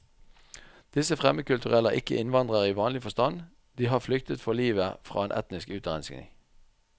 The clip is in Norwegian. Disse fremmedkulturelle er ikke innvandrere i vanlig forstand, de har flyktet for livet fra en etnisk utrenskning.